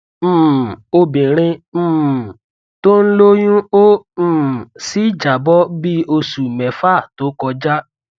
um obirin um to n loyun o um si jabo bi osu mefa to koja